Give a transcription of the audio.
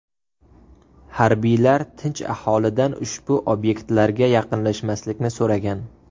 Harbiylar tinch aholidan ushbu obyektlarga yaqinlashmaslikni so‘ragan.